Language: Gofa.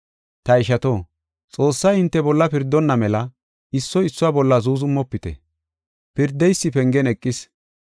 Ta ishato, Xoossay hinte bolla pirdonna mela issoy issuwa bolla zuuzumofite. Pirdeysi pengen eqis.